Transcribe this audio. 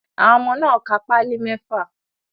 Àwọn ọmọ náà ka páálì mẹ́fà.